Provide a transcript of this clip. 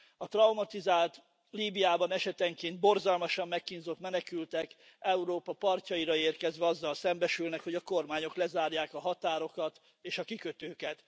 A traumatizált, Líbiában esetenként borzalmasan megkínzott menekültek, Európa partjaira érkezve azzal szembesülnek, hogy a kormányok lezárják a határokat és a kikötőket.